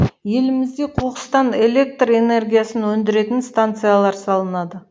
елімізде қоқыстан электр энергиясын өндіретін станциялар салынады